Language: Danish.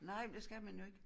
Nej men det skal man jo ikke